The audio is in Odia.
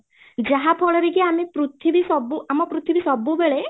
ଯାହାଫଳରେ କି ଆମେ ପୃଥିବୀ ସବୁ, ଆମ ପୃଥିବୀ ସବୁ ବେଳେ